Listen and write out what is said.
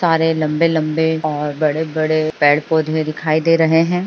सारे लम्बे लम्बे और बड़े बड़े पेड़ पौधे दिखाई दे रहे हैं।